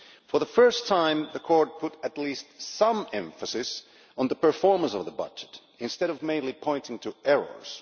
For the first time the Court put at least some emphasis on the performance of the budget, instead of mainly pointing to errors.